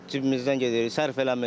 Cibimizdən gedir, sərf eləmir.